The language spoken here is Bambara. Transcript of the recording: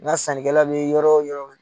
Nka sankɛla bi yɔrɔ o yɔrɔ